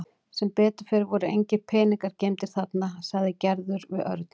Sem betur fer voru engir peningar geymdir þarna sagði Gerður við Örn.